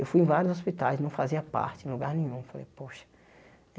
Eu fui em vários hospitais, não fazia parte, em lugar nenhum. Falei poxa